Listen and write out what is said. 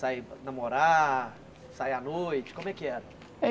Sair para namorar, sair à noite, como é que era?